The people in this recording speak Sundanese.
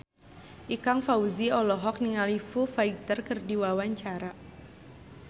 Ikang Fawzi olohok ningali Foo Fighter keur diwawancara